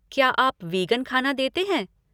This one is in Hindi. क्या आप वीगन ख़ाना देते हैं?